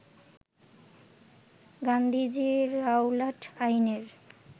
Gandhiji Rowlatt আইনের